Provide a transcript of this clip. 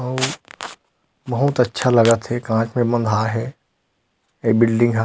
अऊ बहुत अच्छा लगत हे कांच में म बँधाये हे ए बिल्डिंग ह --